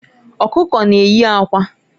Ọkụkọ na-eyi akwa.